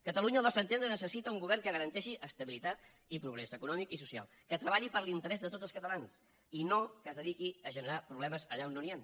catalunya al nostre entendre necessita un govern que garanteixi estabilitat i progrés econòmic i social que treballi per l’interès de tots els catalans i no que es dediqui a generar problemes allà on no n’hi han